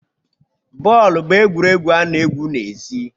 Bọọlụ bụ egwuregwu ana egwu n'ezi